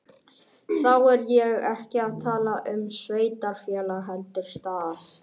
Þá er ég ekki að tala um sveitarfélag heldur stað.